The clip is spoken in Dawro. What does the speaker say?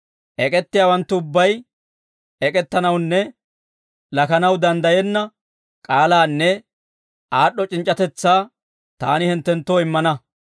Ek'ettiyaawanttu ubbay, ek'ettanawunne lakanaw danddayenna k'aalaanne aad'd'o c'inc'c'atetsaa taani hinttenttoo immana.